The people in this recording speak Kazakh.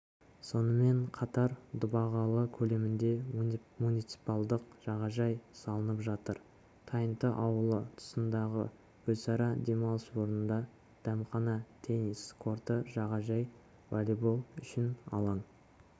сонымен қатар дұбағалы көлемінде муниципалдық жағажай салынып жатыр тайынты ауылы тұсындағы гүлсара демалыс орнында дәмхана теннис корты жағажай волейболы үшін алаң